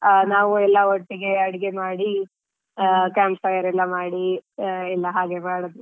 ಆ ನಾವು ಎಲ್ಲಾ ಒಟ್ಟಿಗೆ ಅಡಿಗೆ ಮಾಡಿ ಆ camp fire ಎಲ್ಲಾ ಮಾಡಿ ಆ ಹಾಗೆಲ್ಲಾ ಮಾಡಿದ್ವಿ.